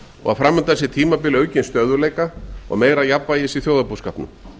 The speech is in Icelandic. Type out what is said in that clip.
og fram undan sé tímabil aukinn stöðugleika og meira jafnvægis í þjóðarbúskapnum